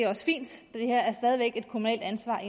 her er stadig væk et kommunalt ansvar